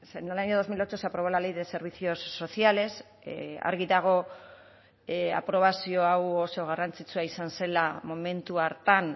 en el año dos mil ocho se aprobó la ley de servicios sociales argi dago aprobazio hau oso garrantzitsua izan zela momentu hartan